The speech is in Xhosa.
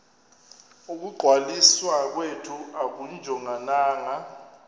ukungcwaliswa kwethu akujongananga